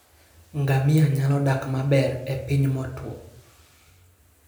Ngamia nyalo dak maber e piny motwo.